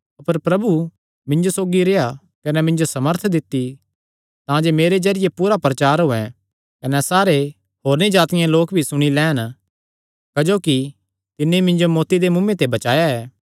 अपर प्रभु मिन्जो सौगी रेह्आ कने मिन्जो सामर्थ दित्ती तांजे मेरे जरिये पूरापूरा प्रचार होयैं कने सारे होरनी जातिआं दे लोक भी सुणी लैंन क्जोकि तिन्नी मिन्जो मौत्ती दे मुँऐ ते बचाया ऐ